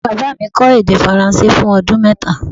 Baba mi kó̩ èdè faransé fun o̩dún mẹ́ta